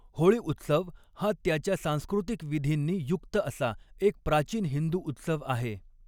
होळी उत्सव हा त्याच्या सांस्कृतिक विधींनी युक्त असा एक प्राचीन हिंदू उत्सव आहे.